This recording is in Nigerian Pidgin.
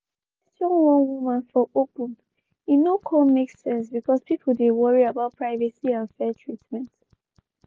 dem question one woman for open e no kon make sense bcoz people dey worry about privacy and fair treatment.